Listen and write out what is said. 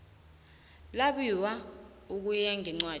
labiwe ukuya ngencwadi